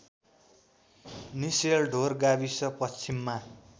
निसेलढोर गाविस पश्चिममा